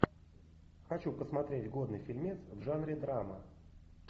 хочу посмотреть годный фильмец в жанре драма